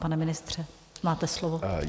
Pane ministře, máte slovo.